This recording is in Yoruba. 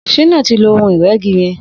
Shina ti ló óhùn-irẹ̀gí yẹ̀n